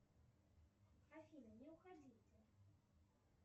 афина не уходите